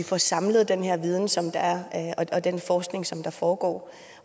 får samlet den her viden som der er og den forskning som der foregår